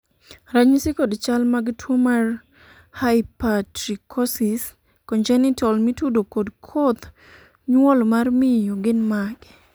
ranyisi kod chal mag tuo mar Hypertrichosis congenital mitudo kod koth nyuol mar miyo gin mage?